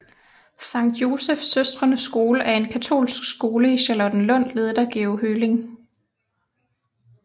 Sankt Joseph Søstrenes Skole er en katolsk skole i Charlottenlund ledet af Georg Høling